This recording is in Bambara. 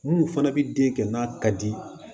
Minnu fana bɛ den kɛ n'a ka di